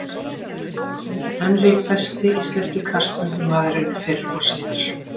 Henry Besti íslenski knattspyrnumaðurinn fyrr og síðar?